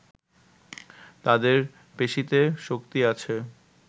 তাদের পেশিতে শক্তি আছে